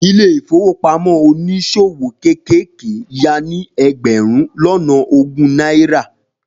Ilé ìfowópamọ́ oníṣòwò kéékèèké ya ní ẹgbẹ̀rún lọ́nà ogún náírà.